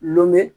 Ɔnmi